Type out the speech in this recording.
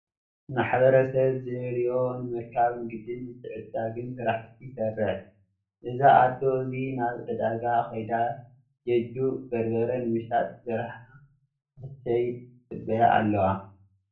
ማሕበረሰብ ዝደለዮ ንምርካብ ንግድን ምትዕድዳግን ስራሕቲ ይሰርሕ እዛ ኣዶ እዚ ናብ ዕዳጋ ከይዳ ጀጁ በርበረ ንምሻጥ ዘርሓ ንክትሸይጥ ይፅበያ ኣለዋ።